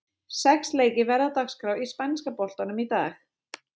Sex leikir verða á dagskrá í spænska boltanum í dag.